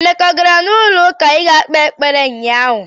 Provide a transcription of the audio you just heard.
Emeka a gara n'ụlọụka ịga kpee ekpere ụnyaahụ?